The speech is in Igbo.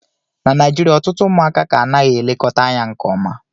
na Naijirịa ọtụtụ ụmụaka ka anaghị elekọta anya nke ọma